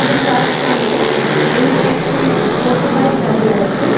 এবং তার সামনে বেশ কিছু মোটর বাইক দাঁড়িয়ে আছে ।